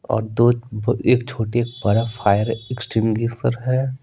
और दो एक छोटे बड़ा फायर एक्ट्रेमली है।